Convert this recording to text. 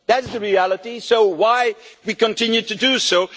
That is the reality, so why do we continue to do